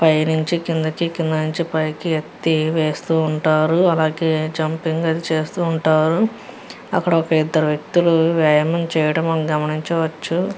ఇక్కడ కింది నుంచి మీఎది మేది నుంచి కిందికి వెళ్తునారు.